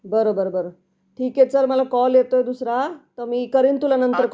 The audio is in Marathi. बरं बरं बरं ठीक आहे चाल मला कॉल येतेय दुसरा मी करेल तुला नंतर कॉल.